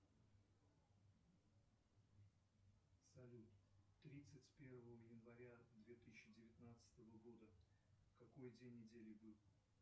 салют тридцать первого января две тысячи девятнадцатого года какой день недели был